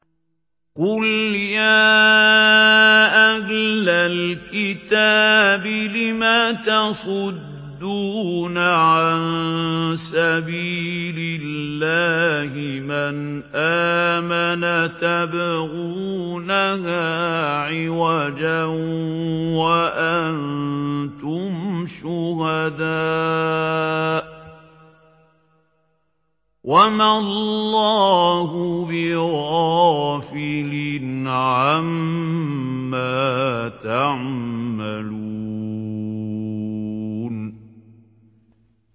قُلْ يَا أَهْلَ الْكِتَابِ لِمَ تَصُدُّونَ عَن سَبِيلِ اللَّهِ مَنْ آمَنَ تَبْغُونَهَا عِوَجًا وَأَنتُمْ شُهَدَاءُ ۗ وَمَا اللَّهُ بِغَافِلٍ عَمَّا تَعْمَلُونَ